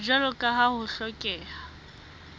jwalo ka ha ho hlokeha